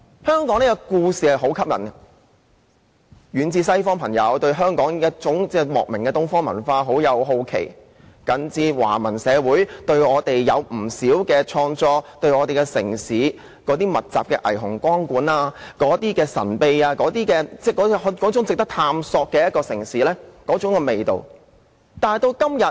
香港的故事很吸引，遠在西方的朋友，對香港那種莫名的東方文化感到好奇，就近的華文社會有不少創作以我們為題，他們對我們城市密集的霓虹光管，被那種神秘、值得探索的城市味道吸引。